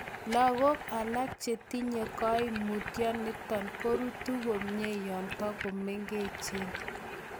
Logok alak chetinye koimutioniton korutu komie yon togomengechen.